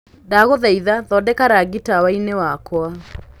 ndagũthaĩtha thondeka rangĩ tawaini wakwa